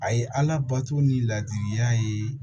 A ye ala bato ni ladilikan ye